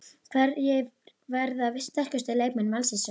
Hverjir verða sterkustu leikmenn Vals í sumar?